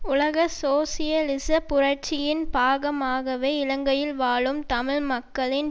உலக சோசியலிச புரட்சியின் பாகமாகவே இலங்கையில் வாழும் தமிழ் மக்களின்